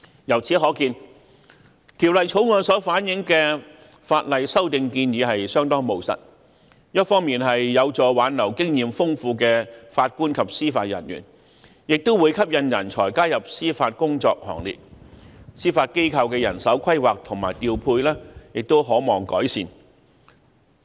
由此可見，《條例草案》所反映的法例修訂建議相當務實，一方面有助挽留經驗豐富的法官及司法人員，另一方面也會吸引人才加入司法工作行列，因而司法機構的人手規劃及調配亦可望改善。